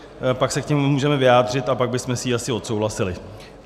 Pak se k tomu můžeme vyjádřit a pak bychom si ji asi odsouhlasili.